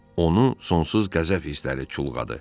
Onu sonsuz qəzəb hissləri çulğadı.